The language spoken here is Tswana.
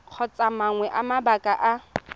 kgotsa mangwe a mabaka a